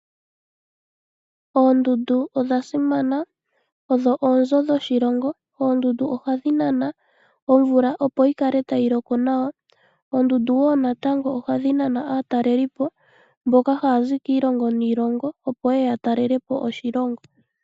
Oondundu odha simana odho oonzo dhoshilongo. Oondundu ohadhi nana omvula opo yikale tayi loko nawa. Oondundu woo natango ohadhi nana aatalelipo mboka haya zi kiilongo niilongo opo yeye yatalelapo oshilongo.